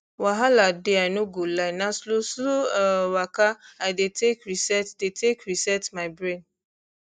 wahala dey i no go lie na slowslow um waka i dey take reset dey take reset my brain